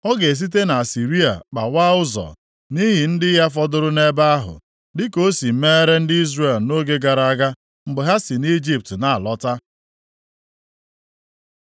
Ọ ga-esite nʼAsịrịa kpawaa ụzọ nʼihi ndị ya fọdụrụ nʼebe ahụ, dịka o si meere ndị Izrel nʼoge gara aga, mgbe ha si nʼIjipt na-alọta.